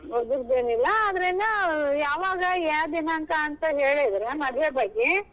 ಅದ್ರಿಂದ ಯಾವಾಗ ಯಾವ್ ದಿನಾಂಕ ಅಂತ ಹೇಳಿದ್ರ ಮದ್ವೆ ಬಗ್ಗೆ.